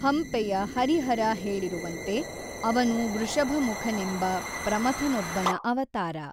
ಹಂಪೆಯ ಹರಿಹರ ಹೇಳಿರುವಂತೆ ಅವನು ವೃಷಭಮುಖನೆಂಬ ಪ್ರಮಥನೊಬ್ಬನ ಅವತಾರ.